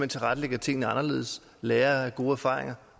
tilrettelægger tingene anderledes lærer af gode erfaringer